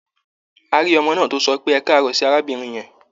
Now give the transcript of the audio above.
A rí ọmọ náà tó sọ pé "ẹkáàárọ̀" sí arábìnrin yẹn.